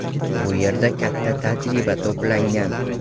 Bu yerda katta tajriba to‘plangan”.